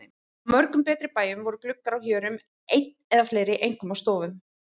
Á mörgum betri bæjum voru gluggar á hjörum einn eða fleiri, einkum á stofum.